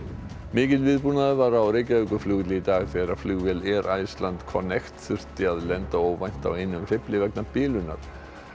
mikill viðbúnaður var á Reykjavíkurflugvelli í dag þegar flugvél Iceland þurfti að lenda óvænt á einum hreyfli vegna bilunar